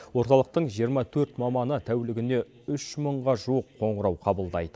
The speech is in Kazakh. орталықтың жиырма төрт маманы тәулігіне үш мыңға жуық қоңырау қабылдайды